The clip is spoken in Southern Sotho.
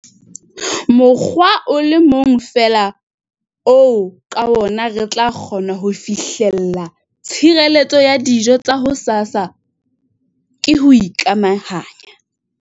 Mokgwa o le mong feela oo ka wona re tla kgona ho fihlella tshireletso ya dijo tsa hosasa ke ho ikamahanya!